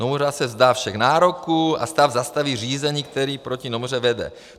Nomura se vzdá všech nároků a stát zastaví řízení, které proti Nomuře vede.